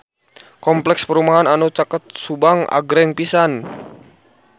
Kompleks perumahan anu caket Subang agreng pisan